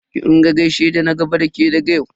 Ki rika gaishe da na gaba da ke daga yau.